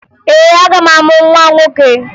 Ee, aga m amụ nwa nwoke